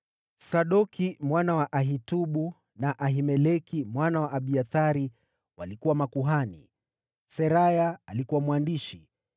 Sadoki mwana wa Ahitubu na Ahimeleki mwana wa Abiathari walikuwa makuhani; Seraya alikuwa mwandishi;